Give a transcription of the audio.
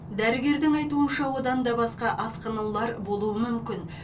дәрігердің айтуынша одан да басқа асқынулар болуы мүмкін